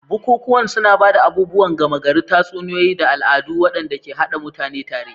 Bukukuwan suna ba da abubuwan gama gari, tatsuniyoyi, da al'adu waɗanda ke haɗa mutane tare.